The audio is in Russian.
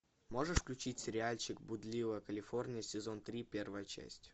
можешь включить сериальчик блудливая калифорния сезон три первая часть